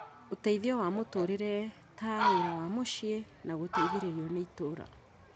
Ũteithio wa mũtũũrĩre ta wĩra wa mũciĩ na gũteithĩrĩrio nĩ itũũra